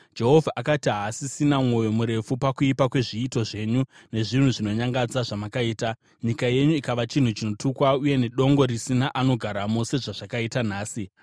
Jehovha akati haasisina mwoyo murefu pakuipa kwezviito zvenyu nezvinhu zvinonyangadza zvamakaita, nyika yenyu ikava chinhu chinotukwa uye nedongo risina anogaramo, sezvazvakaita nhasi.